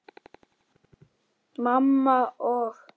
Mamma og